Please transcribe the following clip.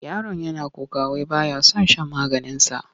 Yaron yana kuka wai ba ya son shan maganinsa.